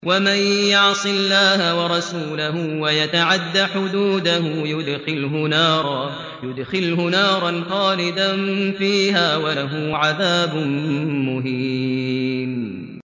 وَمَن يَعْصِ اللَّهَ وَرَسُولَهُ وَيَتَعَدَّ حُدُودَهُ يُدْخِلْهُ نَارًا خَالِدًا فِيهَا وَلَهُ عَذَابٌ مُّهِينٌ